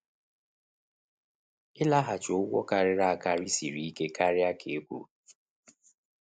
Ịlaghachi ụgwọ karịrị akarị siri ike karịa ka e kwuru.